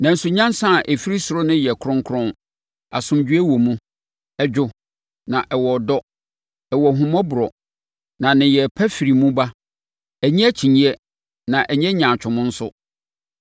Nanso, nyansa a ɛfiri ɔsoro no yɛ kronkron; asomdwoeɛ wɔ mu, ɛdwo na ɛwɔ nidɔ; ɛwɔ ahummɔborɔ na nneyɛeɛ pa firi mu ba; ɛnnye akyinnyeɛ na ɛnyɛ nyaatwom nso.